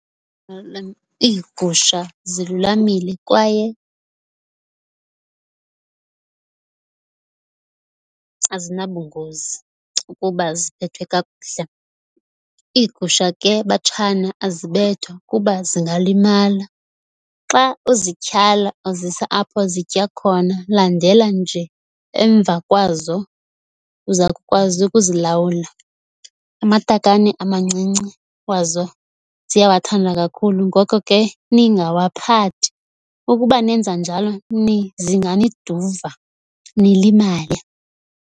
iigusha zilulamile kwaye azinabungozi ukuba ziphethwe kakuhle. Iigusha ke, batshana, azibethwa kuba zingalimala. Xa uzityhala uzisa apho zitya khona landela nje emva kwazo uza kukwazi ukuzilalwula. Amatakane amancinci wazo ziyawathanda kakhulu ngoko ke ningawaphathi ukuba nenza njalo zinganiduva nilimale.